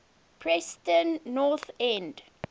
preston north end